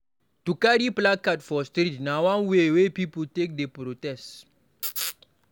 To carry placard for street na one way wey pipo take dey protest.